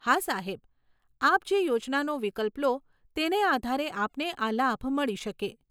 હા સાહેબ, આપ જે યોજનાનો વિકલ્પ લો, તેને આધારે આપને આ લાભ મળી શકે.